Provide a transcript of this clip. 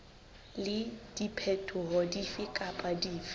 le diphetoho dife kapa dife